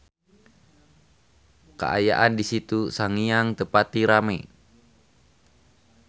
Kaayaan di Situ Sangiang teu pati rame